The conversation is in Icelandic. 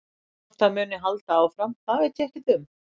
Hvort það muni halda áfram það veit ég ekkert um.